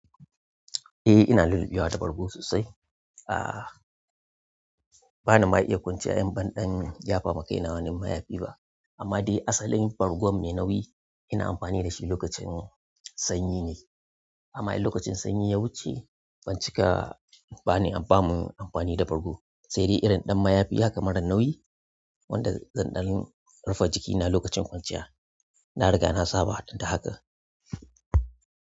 Eh ina lulluɓewa da bargo sosai. Aaa bana ma iya kwanciya in banɗan yafa ma kai na wani mayafi ba. Amma dai asalin bargon mai nauyi ina amfani dashi lokacin sanyi ne amma in lokacin sanyi ya wuce bancika ba ni an bamu amfani da bargo. Sai dai irin ɗan mayafi haka marar nauyi wanda zan ɗan rufe jikina lokacin kwanciya. Nariga na saba da hakan.